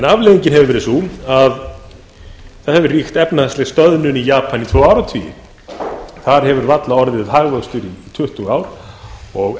afleiðingin hefur verið sú að það hefur ríkt efnahagsleg stöðnun í japan í tvo áratugi þar hefur varla orðið hagvöxtur í tuttugu ár og